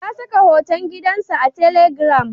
Ya saka hoton gidansa a telegram.